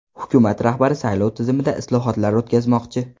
Hukumat rahbari saylov tizimida islohotlar o‘tkazmoqchi.